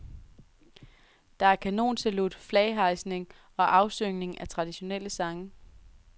Der er kanonsalut, flaghejsning og afsyngning af traditionelle sange.